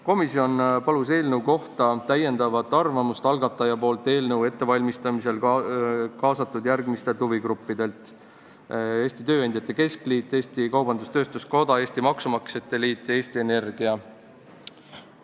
Komisjon palus eelnõu kohta arvamust eelnõu ettevalmistamisel kaasatud järgmistelt huvigruppidelt: Eesti Tööandjate Keskliit, Eesti Kaubandus-Tööstuskoda, Eesti Maksumaksjate Liit ja Eesti Energia.